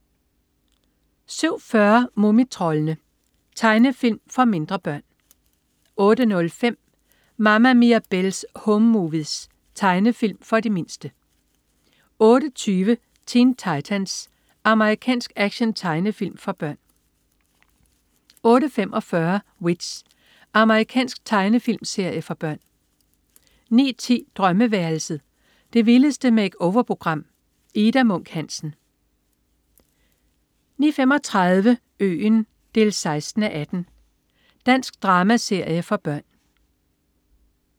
07.40 Mumitroldene. Tegnefilm for mindre børn 08.05 Mama Mirabelle's Home Movies. Tegnefilm for de mindste 08.20 Teen Titans. Amerikansk actiontegnefilm for børn 08.45 W.i.t.c.h. Amerikansk tegnefilmserie for børn 09.10 Drømmeværelset. Det vildeste make-over-program. Ida Munk Hansen 09.35 Øen 16:18. Dansk dramaserie for børn